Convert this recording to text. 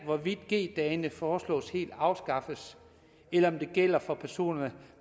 hvorvidt g dagene foreslås helt afskaffet eller om det gælder for personer